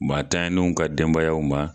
Maa tanyaw ka denbayaw ma.